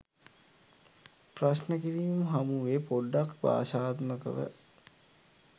ප්‍රශ්න කිරීම් හමු වේ පොඩ්ඩක් භාෂාත්මකව